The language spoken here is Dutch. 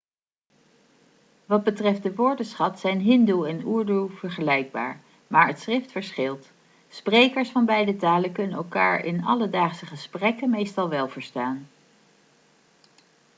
wat betreft de woordenschat zijn hindi en urdu vergelijkbaar maar het schrift verschilt sprekers van beide talen kunnen elkaar in alledaagse gesprekken meestal wel verstaan